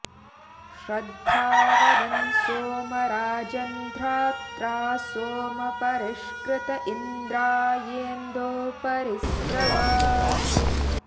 श्र॒द्धां वद॑न्सोम राजन्धा॒त्रा सो॑म॒ परि॑ष्कृत॒ इन्द्रा॑येन्दो॒ परि॑ स्रव